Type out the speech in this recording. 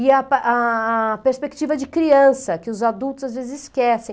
e a a a perspectiva de criança, que os adultos às vezes esquecem.